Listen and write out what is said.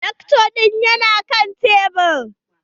Darto ɗin ya na kan tebur.